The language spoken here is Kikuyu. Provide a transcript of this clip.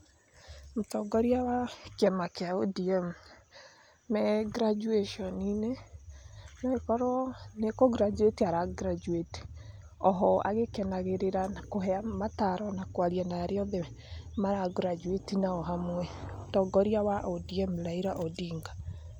Mũtongoria wa kĩama kĩa ODM me graduation -inĩ, no ĩkorwo nĩ kũ graduate ] ara graduate oho agĩkenagĩrĩra, na kũhe mataro na kwarĩa na arĩa othe mara graduate nao hamwe, mũtongoria wa ODM Raila Odinga.